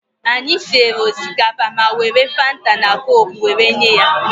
Anyị siere osikapa ma were Fanta na koku were nye ya.